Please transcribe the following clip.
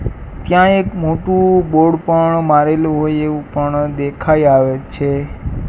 ત્યાં એક મોટું બોર્ડ પણ મારેલું હોય એવું પણ દેખાય આવે છે.